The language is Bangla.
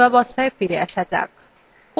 আবার পূর্বাবস্থায় ফিরে আসা যাক